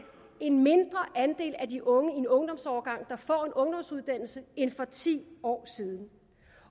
en mindre andel af de unge i en ungdomsårgang der får en ungdomsuddannelse end for ti år siden